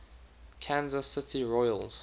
kansas city royals